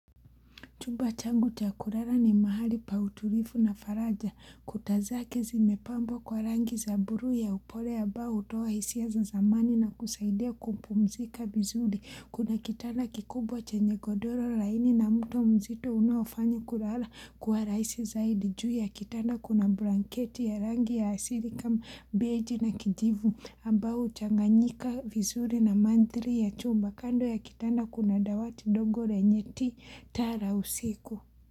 Chumba changu cha kurara ni mahali pa uturifu na faraja. Kutaz ake zimepambwa kwa rangi za buruu ya upole ambbao hutoa hisia za zamani na kusaidia kumpumzika vizuri. Kuna kitanda kikubwa chenye godoro laini na mto mzito unaoafanya kulala kuwa rahisi zaidi. Juu ya kitanda kuna blanketi ya rangi ya asili kama mbeji na kijivu. Ambao huchanganyika vizuri na manthri ya chumba kando ya kitanda kuna dawati dogo renye ti taa la usiku.